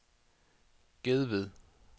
Gedved